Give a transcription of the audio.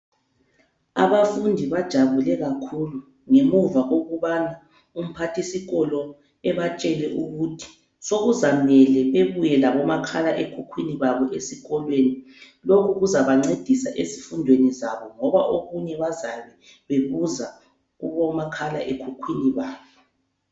Abafundi bajabule kakhulu ngemuva kokubana umphathisikolo ebatshele ukuthi sokuzamele bebuye labomakhala ekhukhwini babo esikolweni. Lokhu kuzabancedisa ezifundweni zabo ngoba okunye bazabe bebuza kubomakhala ekhukhwini babo.